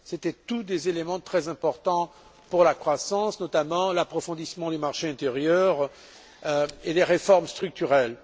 C'étaient tous des éléments très importants pour la croissance, notamment l'approfondissement du marché intérieur et des réformes structurelles.